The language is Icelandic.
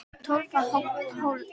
Tólfta holan í dag